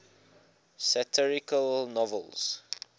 satirical novels